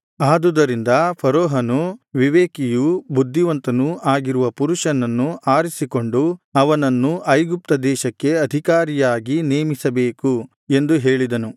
ಆದುದರಿಂದ ಫರೋಹನು ವಿವೇಕಿಯೂ ಬುದ್ಧಿವಂತನೂ ಆಗಿರುವ ಪುರುಷನನ್ನು ಆರಿಸಿಕೊಂಡು ಅವನನ್ನು ಐಗುಪ್ತ ದೇಶಕ್ಕೆ ಅಧಿಕಾರಿಯಾಗಿ ನೇಮಿಸಬೇಕು ಎಂದು ಹೇಳಿದನು